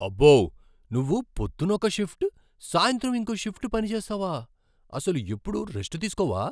అబ్బో! నువ్వు పొద్దున్న ఒక షిఫ్ట్, సాయంత్రం ఇంకో షిఫ్ట్ పనిచేస్తావా? అసలు ఎప్పుడూ రెస్ట్ తీస్కోవా?